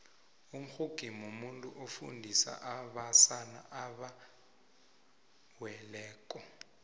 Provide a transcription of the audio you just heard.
umxhungi mumuntu ofundisa abasana abewelileko